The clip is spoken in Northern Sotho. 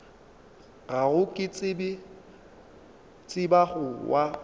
gago ke tseba go wa